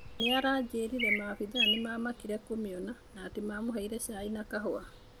Nĩaranjĩrire maabithaa nĩmamakire kũmeona na atĩ nĩmamũheire caĩ na kahũa.